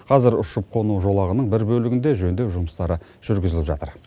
қазір ұшып қону жолағының бір бөлігінде жөндеу жұмыстары жүргізіліп жатыр